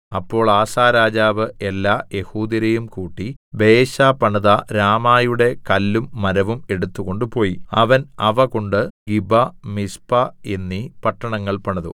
അപ്പോൾ ആസാ രാജാവ് എല്ലാ യെഹൂദ്യരെയും കൂട്ടി ബയെശാ പണിത രാമയുടെ കല്ലും മരവും എടുത്തുകൊണ്ടുപോയി അവൻ അവ കൊണ്ട് ഗിബ മിസ്പ എന്നീ പട്ടണങ്ങൾ പണിതു